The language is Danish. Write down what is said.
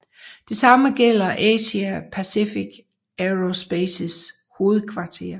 Det same gælder Asia Pacific Aerospaces hovedkvarter